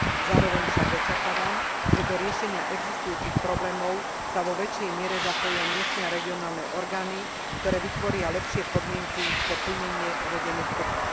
Zároveň však očakávam, že do riešenia existujúcich problémov sa vo väčšej miere zapoja miestne a regionálne orgány, ktoré vytvoria lepšie podmienky pre plnenie uvedených programov.